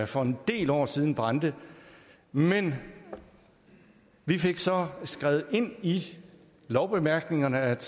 for en del år siden brændte men vi fik så skrevet ind i lovbemærkningerne at